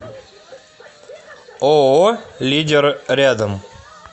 ооо лидер рядом